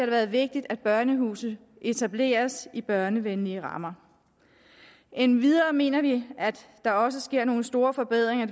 været vigtigt at børnehuse etableres i børnevenlige rammer endvidere mener vi at der også sker nogle store forbedringer